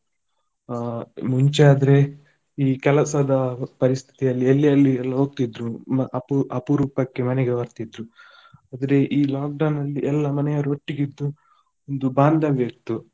ಆ ಮುಂಚೆ ಆದ್ರೆ ಈ ಕೆಲಸದ ಪರಿಸ್ಥಿಯಲ್ಲಿ ಎಲ್ಲಿ ಎಲ್ಲಿಯೆಲ್ಲಾ ಹೋಗ್ತಿದ್ರೂ ಮ~ ಅಪು~ ಅಪೂರೂಪಕ್ಕೆ ಮನೆಗೆ ಬರ್ತಿದ್ರು. ಆದ್ರೆ ಈ lockdown ಅಲ್ಲಿ ಎಲ್ಲ ಮನೆಯವರು ಒಟ್ಟಿಗೆ ಇದ್ದು ಇದು ಬಾಂದವ್ಯ ಇತ್ತು.